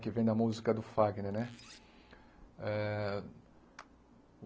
Que vem da música do Fagner, né? Eh